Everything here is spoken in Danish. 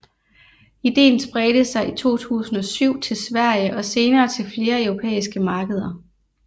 Idéen spredte sig i 2007 til Sverige og senere til flere europæiske markeder